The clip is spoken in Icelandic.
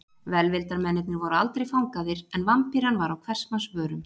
Velvildarmennirnir voru aldrei fangaðir en Vampíran var á hvers manns vörum.